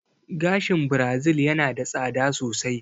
Gashin Birazil yana da tsada sosai